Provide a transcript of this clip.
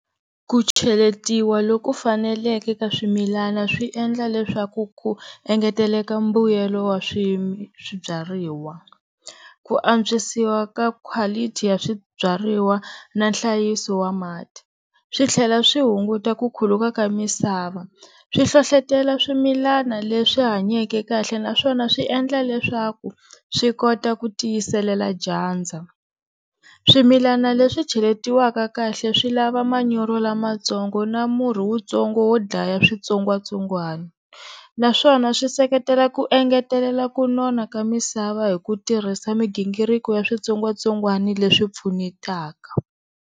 Ku cheletiwa loku faneleke ka swimilana swi endla leswaku ku engeteleka mbuyelo wa swibyariwa, ku antswisiwa ka quality ya swibyariwa na nhlayiso wa mati, swi tlhela swi hunguta ku khuluka ka misava swi hlohlotelo swimilana leswi hanyake kahle naswona swi endla leswaku swi kota ku tiyiselela dyandza. Swimilana leswi cheletiwaka kahle swi lava manyoro lamatsongo na murhi wutsongo wo dlaya switsongwatsongwana, naswona swi seketela ku engetelela ku nona ka misava hi ku tirhisa migingiriko ya switsongwatsongwan leswi pfunetaka.